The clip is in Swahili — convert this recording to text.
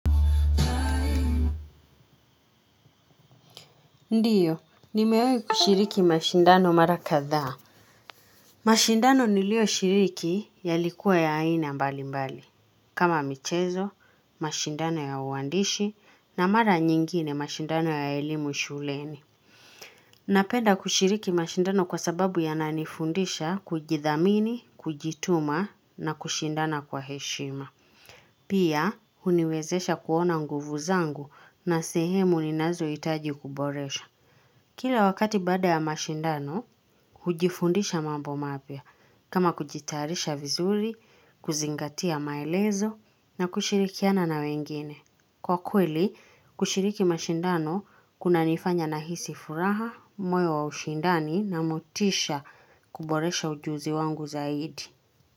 Ndiyo, nimewahi kushiriki mashindano mara kadhaa. Mashindano nilio shiriki yalikuwa ya aina mbali mbali. Kama michezo, mashindano ya uandishi, na mara nyingine mashindano ya elimu shuleni. Napenda kushiriki mashindano kwa sababu yananifundisha kujithamini, kujituma, na kushindana kwa heshima. Pia, huniwezesha kuona nguvu zangu na sehemu ninazo hitaji kuboresha. Kila wakati baada ya mashindano, hujifundisha mambo mapya kama kujitayarisha vizuri, kuzingatia maelezo na kushirikiana na wengine. Kwa kweli, kushiriki mashindano kuna nifanya nahisi furaha, moyo wa ushindani na motisha kuboresha ujuzi wangu zaidi.